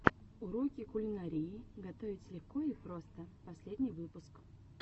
уроки кулинарии готовить легко и просто последний выпуск